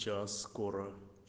сейчас скоро